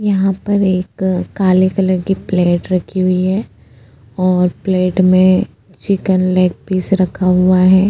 यहा पर एक काले कलर की प्लेट रखी हुई है और प्लेट में चिकन लेग पीस रखा हुआ है।